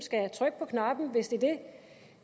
skal trykke på knappen hvis det